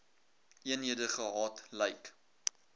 eenhede gehad lyk